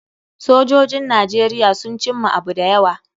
Sojojin Najeriya sun cimma abu da yawa.